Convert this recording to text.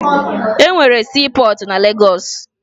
E nwere siipọọtụ na Legọọsụ